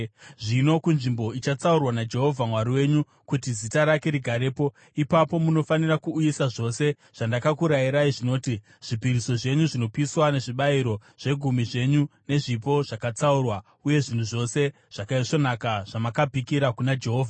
Zvino kunzvimbo ichatsaurwa naJehovha Mwari wenyu kuti Zita rake rigarepo, ipapo munofanira kuuyisa zvose zvandakakurayirai zvinoti: zvipiriso zvenyu zvinopiswa nezvibayiro, zvegumi zvenyu nezvipo zvakatsaurwa, uye zvinhu zvose zvakaisvonaka zvamakapikira kuna Jehovha.